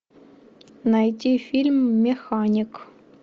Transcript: найти фильм механик